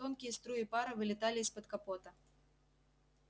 тонкие струи пара вылетали из-под капота